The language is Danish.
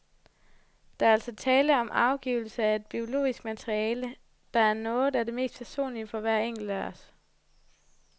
Der er altså tale om afgivelse af et biologisk materiale, der er noget af det mest personlige for hver enkelt af os.